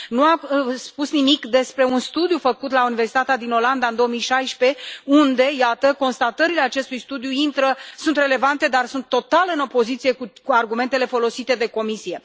Nu a spus nimic despre un studiu făcut la Universitatea din Olanda în 2016 iată, constatările acestui studiu sunt relevante, dar sunt total în opoziție cu argumentele folosite de Comisie.